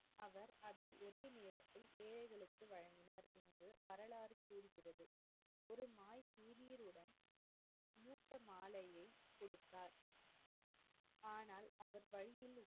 மாலையை குடுத்தார் ஆனால், அவர் வழியில்,